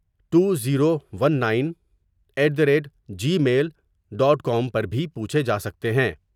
To zero one nine eight the rate Gmail dot com پر بھی پوچھے جا سکتے ہیں ۔